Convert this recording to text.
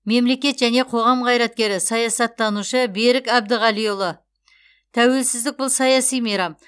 мемлекет және қоғам қайраткері саясаттанушы берік әбдіғалиұлы тәуелсіздік бұл саяси мейрам